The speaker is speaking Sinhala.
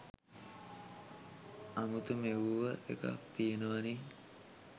අමුතු මෙව්ව එකක් තියෙනවනේ